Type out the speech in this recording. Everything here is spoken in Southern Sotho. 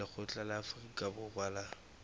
lekgotla la afrika borwa la